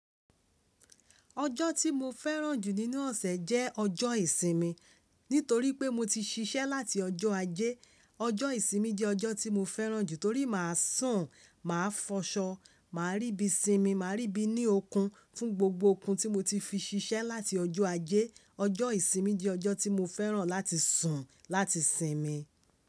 Ọjọ́ tí mo fẹ́ràn jù nínú ọ̀sẹ̀ jẹ́ ọjọ́ ìsinmi. Nítorí pé mo ti ṣiṣẹ́ láti ọjọ́ Ajé, ọjọ́ ìsinmi jẹ́ ọjọ́ tí mo fẹ́ràn jù torí mà á sùn, mà á fọṣọ, mà á rí bí i sinmi, mà á rí bí i ní okun fún gbogbo okun tí mo ti fi ṣiṣẹ́ láti ọjọ́ Ajé. Ọjọ́ ìsinmi jẹ́ ọjọ́ tí mo fẹ́ràn láti sùn, láti sinmi.